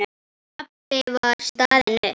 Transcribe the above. Pabbi var staðinn upp.